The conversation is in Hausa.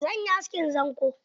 Zan yi askin zanƙo.